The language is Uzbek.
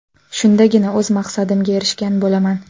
Shundagina o‘z maqsadimga erishgan bo‘laman”.